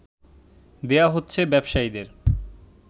দেয়া হচ্ছে ব্যবসায়ীদের